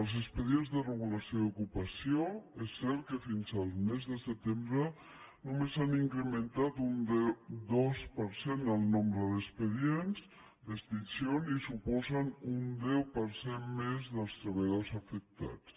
els expedients de regulació d’ocupació és cert que fins al mes de setembre només han incrementat un dos per cent el nombre d’expedients d’extinció i suposen un deu per cent més dels treballadors afectats